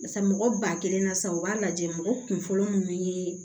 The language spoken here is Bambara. Barisa mɔgɔ ba kelen na sa u b'a lajɛ mɔgɔ kun fɔlɔ munun ye